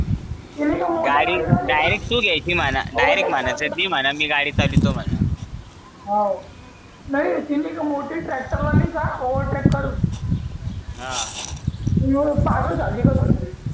थेट तु घ्यायची म्हणा थेट म्हणायचं ती म्हणल मी गाडी चालवते म्हणा होणार ती मोठी ट्रॅक्टर वाली का ओव्हर ट्रॅक्टर हा पागल झाली का खरं